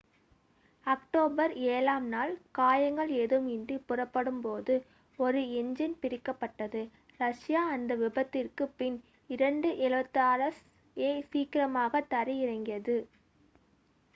October ஏழாம் நாள் காயங்கள் ஏதும் இன்றி புறப்படும் போது ஒரு என்ஜின் பிரிக்கப்பட்டது ரஷ்யா அந்த விபத்திற்கு பின் ii-76 s யை சீக்கிரமாக தரை இறங்கியது